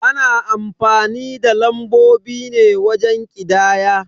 Ana amfani da lambobi ne wajen ƙidaya.